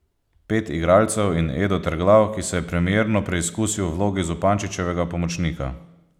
Pet igralcev in Edo Terglav, ki se je premierno preizkusil v vlogi Zupančičevega pomočnika.